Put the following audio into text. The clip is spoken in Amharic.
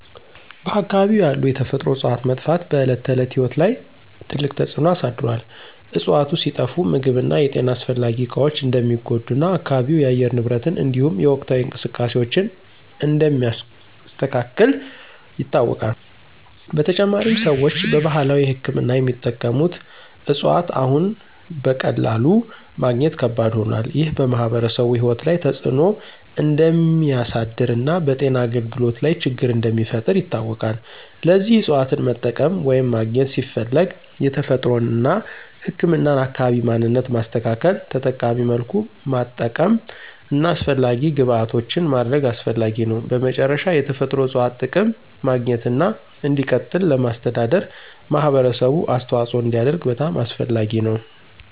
በአካባቢው ያሉ የተፈጥሮ እፅዋት መጥፋት በዕለት ተዕለት ሕይወት ላይ ትልቅ ተጽዕኖ አሳድሮአል። እፅዋቱ ሲጠፋ ምግብ እና የጤና አስፈላጊ እቃዎች እንደሚጎዱ እና አካባቢው የአየር ንብረትን እንዲሁም የወቅታዊ እንቅስቃሴዎችን እንደሚያስተካክል ይታወቃል። በተጨማሪም፣ ሰዎች በባህላዊ ሕክምና የሚጠቀሙት እፅዋት አሁን በቀላሉ ማግኘት ከባድ ሆኗል። ይህ በማኅበረሰቡ ሕይወት ላይ ተጽዕኖ እንደሚያሳድር እና በጤና አገልግሎት ላይ ችግር እንደሚፈጥር ይታወቃል። ለዚህ እፅዋትን መጠቀም ወይም ማግኘት ሲፈለግ የተፈጥሮን እና ህክምናን አካባቢ ማንነት ማስተካከል፣ ተጠቃሚ መልኩ ማጠቀም እና አስፈላጊ ግብዓቶችን ማድረግ አስፈላጊ ነው። በመጨረሻ፣ የተፈጥሮ እፅዋት ጥቅም ማግኘትና እንዲቀጥል ለማስተዳደር ማህበረሰቡ አስተዋጽኦ እንዲያደርግ በጣም አስፈላጊ ነው።